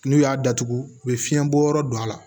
N'u y'a datugu u bɛ fiɲɛ bɔ yɔrɔ don a la